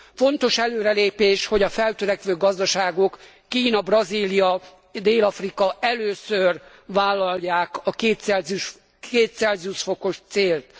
Fontos előrelépés, hogy a feltörekvő gazdaságok, Kína, Brazília, Dél Afrika először vállalják a 2ºC os célt.